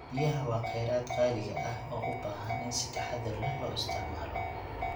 Biyaha waa khayraad qaaliga ah oo u baahan in si taxadar leh loo isticmaalo.